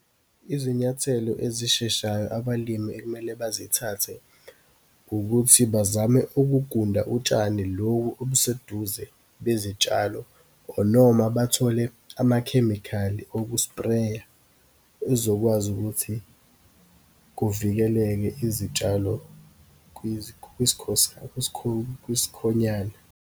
Izinyathelo ezisheshayo abalimi ekumele bazithathe, ukuthi bazame ukugunda utshani lobu obuseduze bezitshalo, or noma bathole amakhemikhali oku-spray-a, ezokwazi ukuthi kuvikeleke izitshalo kwisikhonyana.